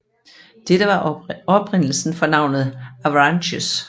Dette var oprindelsen for navnet Avranches